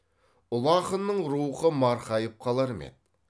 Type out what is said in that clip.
ұлы ақынның рухы марқайып қалар ма еді